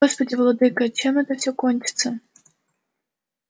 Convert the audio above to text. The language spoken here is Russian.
господи владыко чем это все кончится